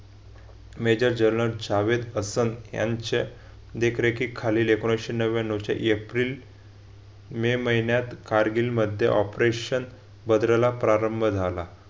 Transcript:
Major general छाव ए परसोन यांच्या देखरेखीखालीं एकोणविशे नव्व्यान्नव च्या एप्रिल मे महिन्यात कारगिलमध्ये operation भद्रला प्रारंभ झाला.